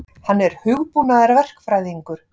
Hann er hugbúnaðarverkfræðingur.